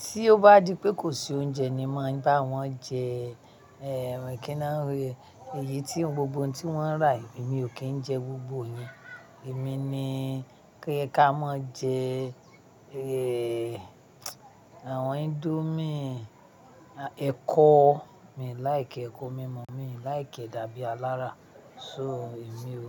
Tí ó bá di pé kò sí oúnjẹ ni máa bá wọn jẹ kí ni a ń rí, èyí tí gbogbo ohun tí wọ́n rà, èmi ò kí ń jẹ gbogbo yẹn. Èmi ni kí ẹ ká má jẹ àwọn indomie, ẹkọ. Èmi like ẹkọ, mímú mi like dàbí alára. So èmi ò mú.